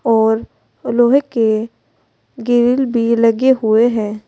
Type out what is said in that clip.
और लोहे के ग्रिल भी लगे हुए है।